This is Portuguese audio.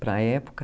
Para a época.